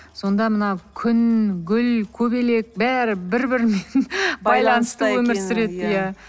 сонда мына күн гүл көбелек бәрі бір бірімен байланысты өмір сүреді иә